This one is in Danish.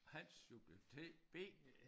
Hans subjekt T B